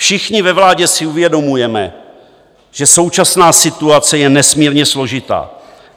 Všichni ve vládě si uvědomujeme, že současná situace je nesmírně složitá.